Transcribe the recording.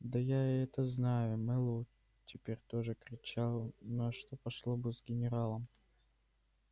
да я это знаю мэллоу теперь тоже кричал но что пошло бы с генералом